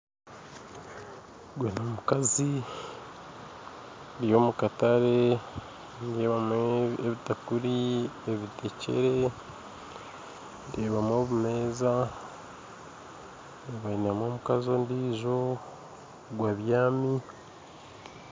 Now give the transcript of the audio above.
Ogwe n'omukazi ari omukatare nindeebamu ebitakuri, ebitekyere ndeebamu obumeeza ndeebamu omukazi ondijo ogwe abyami.